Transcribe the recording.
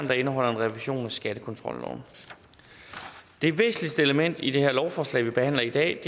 der indeholder en revision af skattekontrolloven det væsentligste element i det lovforslag vi behandler i dag